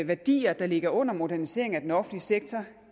værdier der ligger under moderniseringen af den offentlige sektor